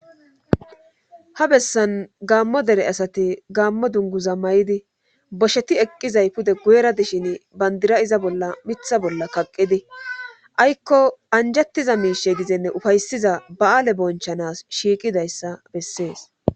ha bessan gaammo dere asati gaammo dunguza may7idi bosheti eqqizay pude guyera dishin bandira iza bolla mitha bolla kaqqidi aykko anjettiza miishe gizenne ufaysiza ba7aale bonchanas shiiqidayssa bessees